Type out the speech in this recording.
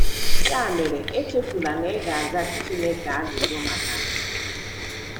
Ya mere, echefula na ị ga - aza Chineke ajụjụ maka ha!